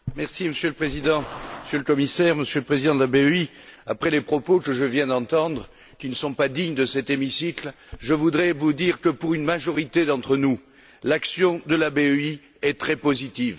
Monsieur le Président, Monsieur le Commissaire, Monsieur le Président de la BEI, après les propos que je viens d'entendre, qui ne sont pas dignes de cet hémicycle, je voudrais vous dire que pour une majorité d'entre nous, l'action de la BEI est très positive.